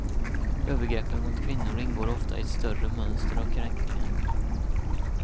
Övergreppen mot kvinnor ingår ofta i ett större mönster av kränkningar.